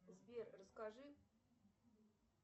сбер расскажи